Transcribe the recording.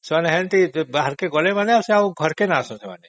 ଘରୁ ବାହାରକୁ ଗଲେ ମାନେ ଆଉ ଆସନ୍ତିନି